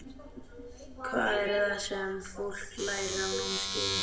Hvað er það sem fólk lærir af námskeiðinu?